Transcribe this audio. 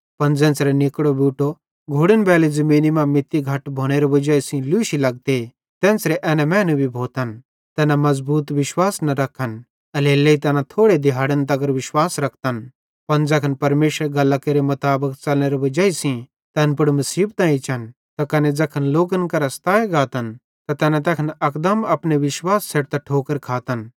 पन ज़ेन्च़रां निकड़ो बूटो घोड़नबैली ज़मीनी मां मित्ती घट भोनेरे वजाई सेइं लूशी लगते तेन्च़रां एना मैनू भी भोतन तैना मज़बूत विश्वास न रखन एल्हेरेलेइ तैना थोड़े दिहाड़न तगर विश्वास रखतन पन ज़ैखन परमेशरेरी गल्लां केरे मुताबिक च़लनेरे वजाई सेइं तैन पुड़ मुसीबतां एच्चन त कने ज़ैखन लोकन केरां सताए गातन त तैखन तैना अकदम अपने विश्वास छ़ेडतां ठोकर खातन